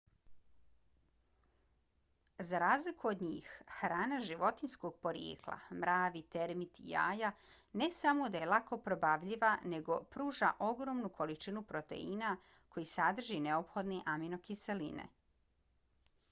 za razliku od njih hrana životinjskog porijekla mravi termiti jaja ne samo da je lako probavljiva nego pruža ogromnu količinu proteina koji sadrže neophodne aminokiseline